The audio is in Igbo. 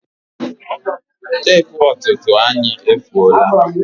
Tepu ọtụtụ anyị efuola